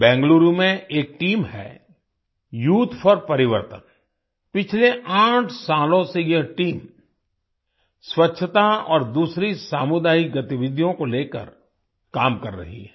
बेंगलुरु में एक टीम है youth for Parivartan youth for Parivartan पिछले आठ सालों से यह टीम स्वच्छता और दूसरी सामुदायिक गतिविधियों को लेकर काम कर रही है